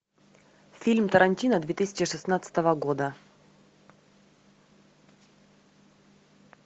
фильм тарантино две тысячи шестнадцатого года